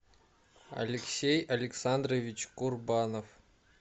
алексей александрович курбанов